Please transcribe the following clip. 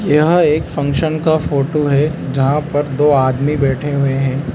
यह एक फंक्शन का फोटो है जहां पर दो आदमी बैठे हुए हैं।